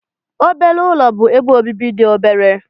Obere ụlọ bụ ebe obibi dị obere.